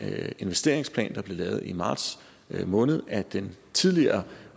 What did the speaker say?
investeringsplan der blev lavet i marts måned af den tidligere